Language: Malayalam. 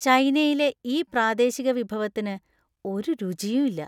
ചൈനയിലെ ഈ പ്രാദേശിക വിഭവത്തിന് ഒരു രുചിയുമില്ലാ.